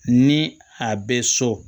Ni a bɛ so